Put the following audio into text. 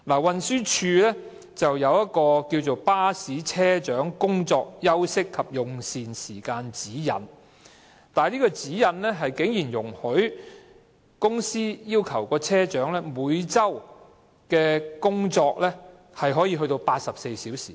運輸署有一份"巴士車長工作、休息及用膳時間指引"，當中竟然容許公司要求車長每周工作多達84小時。